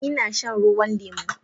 Ina shan ruwan lemu